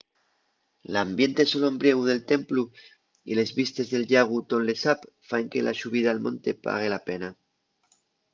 l'ambiente solombriegu del templu y les vistes del llagu tonle sap faen que la xubida al monte pague la pena